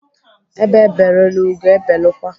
Ebe belụrụ, ugo ebelụkwa.